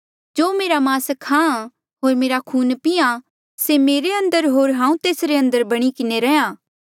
जो मेरा मास खाहाँ होर मेरा खून पीहां से मेरे अंदर होर हांऊँ तेस अंदर बणी किन्हें रैंहयां